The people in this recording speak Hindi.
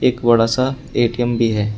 एक बड़ा सा ए_टी_एम भी है।